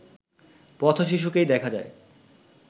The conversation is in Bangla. পথ-শিশুকেই দেখা যায়